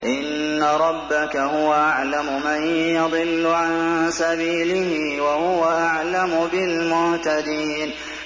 إِنَّ رَبَّكَ هُوَ أَعْلَمُ مَن يَضِلُّ عَن سَبِيلِهِ ۖ وَهُوَ أَعْلَمُ بِالْمُهْتَدِينَ